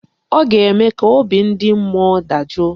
Ọ ga-eme ka obi ndị mmụọ dajụọ?